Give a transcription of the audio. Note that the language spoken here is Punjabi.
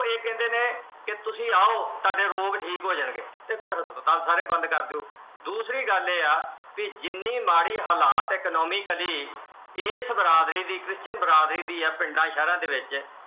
ਫਿਰ ਇਹ ਕਹਿੰਦੇ ਨੇ ਤੁਸੀਂ ਆਓ, ਤੁਹਾਡੇ ਰੋਗ ਠੀਕ ਹੋ ਜਾਣਗੇ ਤੇ ਫਿਰ ਹਸਪਤਾਲ ਸਾਰੇ ਬੰਦ ਕਰ ਦਿਓ। ਦੂਸਰੀ ਗੱਲ ਇਹ ਹੈ ਜਿੰਨੀ ਮਾੜੀ ਹਾਲਾਤ ਆ economically ਇਸ ਬਰਾਦਰੀ ਦੀ Christian ਬਰਾਦਰੀ ਦੀ ਆ ਪਿੰਡਾਂ ਸ਼ਹਿਰਾਂ ਦੇ ਵਿੱਚ